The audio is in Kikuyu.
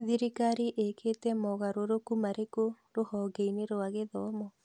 Thirikarĩ ĩkĩte mogarũrũku marĩkũ rũhonge-inĩ rwa gĩthomo?